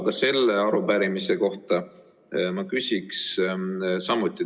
Aga selle arupärimise kohta ma küsiks samuti.